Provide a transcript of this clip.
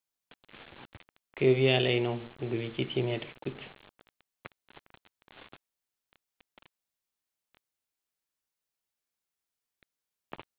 ገቢያ ላይ ነዉ ግብይት የሚያደርጉት።